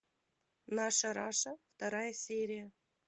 наша раша вторая серия